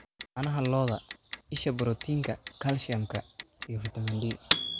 Caanaha lo'da: Isha borotiinka, kalsiyumka, iyo fiitamiin D.